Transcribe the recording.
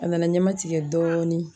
A nana ɲɛma tigɛ dɔɔnin